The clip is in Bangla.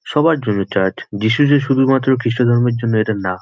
সবার জন্য চার্চ যীশু যে শুধুমাত্র খ্রিস্টান ধর্মের জন্য এটা না ।